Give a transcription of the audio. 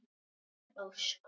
Ykkar Ósk.